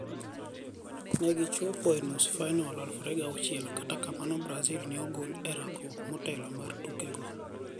Ne gi chopo e nus fainol 2006, kata kamano Brazil ne ogol e rakruok motelo mar tuke go.